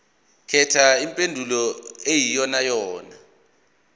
khetha impendulo eyiyonayona